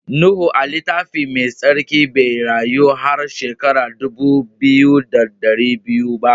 Nuhu a'littafin mai sarki bai rayu har shekara dubu biyu da dari biyu ba.